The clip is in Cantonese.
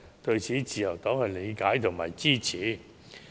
對此，自由黨是理解和支持的。